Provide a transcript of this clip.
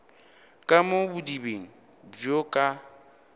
ka mo bodibeng bjo ka